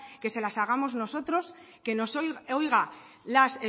que se las hagamos nosotros que nos oiga las